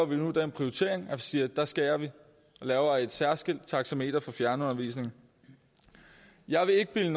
vi nu den prioritering at vi siger at der skærer vi og laver et særskilt taxameter for fjernundervisning jeg vil ikke bilde